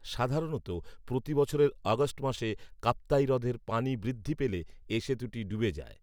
সাধারনতঃ প্রতিবছরের আগষ্ট মাসে কাপ্তাই হ্রদের পানি বৃদ্ধি পেলে এ সেতুটি ডুবে যায়